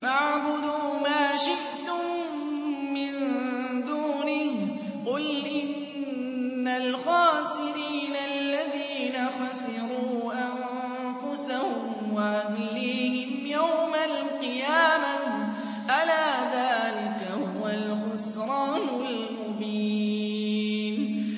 فَاعْبُدُوا مَا شِئْتُم مِّن دُونِهِ ۗ قُلْ إِنَّ الْخَاسِرِينَ الَّذِينَ خَسِرُوا أَنفُسَهُمْ وَأَهْلِيهِمْ يَوْمَ الْقِيَامَةِ ۗ أَلَا ذَٰلِكَ هُوَ الْخُسْرَانُ الْمُبِينُ